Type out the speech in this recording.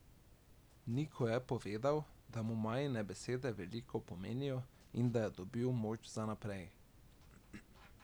Niko je povedal, da mu Majine besede veliko pomenijo in da je dobil moč za naprej.